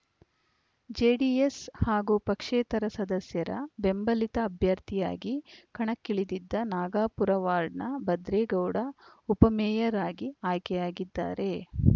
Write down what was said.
JDS ಹಾಗೂ ಪಕ್ಷೇತರ ಸದಸ್ಯರ ಬೆಂಬಲಿತ ಅಭ್ಯರ್ಥಿಯಾಗಿ ಕಣಕ್ಕಿಳಿದಿದ್ದ ನಾಗಪುರ ವಾರ್ಡ್‌ನ ಭದ್ರೇಗೌಡ ಉಪಮೇಯರ್‌ ಅಗಿ ಆಯ್ಕೆಯಾಗಿದ್ದಾರೆ